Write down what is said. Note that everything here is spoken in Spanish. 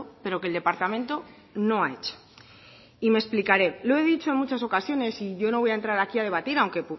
pero que el departamento no ha hecho y me explicaré lo he dicho en muchas ocasiones y yo no voy a entrar aquí a debatir aunque